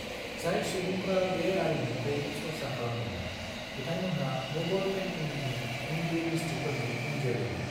जाय सुबुंफ्रा बे आरिमुखौ सरसा खालामदोंमोन, बिथांमोनहा मुगल पेन्टिंनि हिंदू मिस्ट्रिफोरनि उनजोलैमोन।